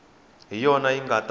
hi yona yi nga ta